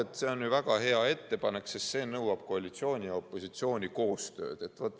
No see on ju väga hea ettepanek, sest see nõuab koalitsiooni ja opositsiooni koostööd.